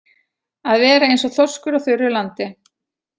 Að vera eins og þorskur á þurru landi